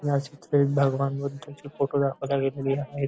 या चित्रेत भगवान बुद्धांचे फोटो दाखवल्या गेलेली आहेत.